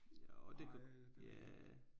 Jo det kan ja